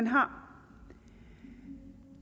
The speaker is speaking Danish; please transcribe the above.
har